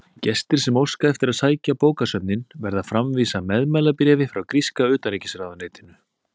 Gestir sem óska eftir að heimsækja bókasöfnin verða að framvísa meðmælabréfi frá gríska utanríkisráðuneytinu.